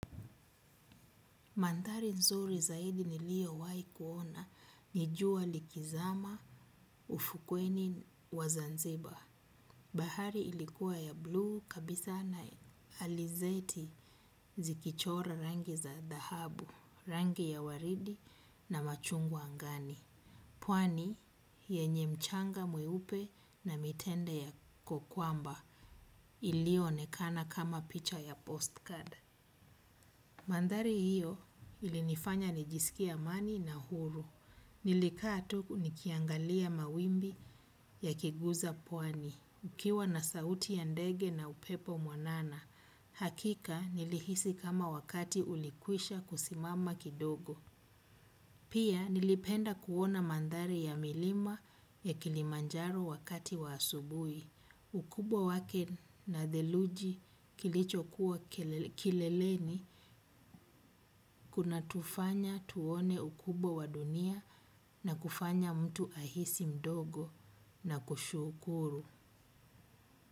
Mandhari nzuri zaidi niliowahi kuona, ni jua likizama ufukweni wa Zanzibar. Bahari ilikuwa ya blue kabisa na alizeti zikichora rangi za dhahabu, rangi ya waridi na machungwa angani. Pwani yenye mchanga mweupe na mitende yako kwamba ilioonekana kama picha ya postcard. Mandhari hiyo ilinifanya nijisikie amani na huru. Nilikaa tu nikiangalia mawimbi yakiguza pwani. Ukiwa na sauti ya ndege na upepo mwanana, hakika nilihisi kama wakati ulikwisha kusimama kidogo. Pia nilipenda kuona mandhari ya milima ya kilimanjaro wakati wa asubuhi. Ukubwa wake na theluji kilicho kuwa kileleni kunatufanya tuone ukubwa wa dunia na kufanya mtu ahisi mdogo na kushukuru.